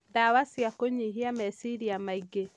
Ndawa cia kũnyihia meciria maingĩ